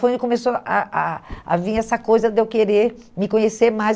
Foi onde começou a a a vir essa coisa de eu querer me conhecer mais.